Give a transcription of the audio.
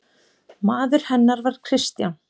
Maður hennar var Kristján